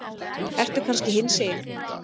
Ertu kannski hinsegin?